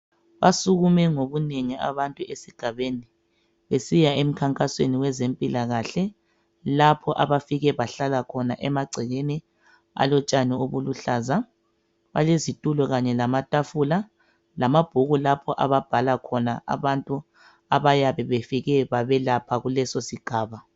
Basukume ngobunengi abantu esigabeni besiya emkhankasweni wezempilakahle lapho abafike bahlala khona emagcekeni alotshani obuluhlaza balezitulo kanye lamatafula lamabhuku lapho ababhala khona abantu abayabe befike babelapha kuleso sigaba.